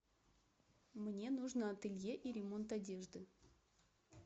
мне нужно ателье и ремонт одежды